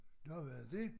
Nå var det dét?